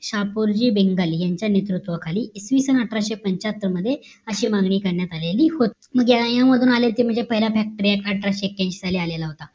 शापूरजी बेंगाली यांच्या नेतृत्वाखाली इसवी सन अठराशे पंच्याहत्तर मध्ये अशी मागणी करण्यात आलेली होती मग यामधून आले ते म्हणजे पहिला factory act अठराशे एक्क्यांशी साली आलेला होता